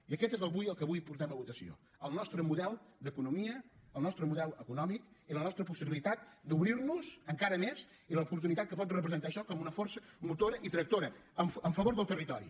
i aquest és el que avui portem a votació el nostre model d’economia el nostre model econòmic i la nostra possibilitat d’obrir nos encara més i l’oportunitat que pot representar això com una força motora i tractora en favor del territori